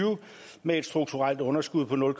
med et strukturelt underskud på nul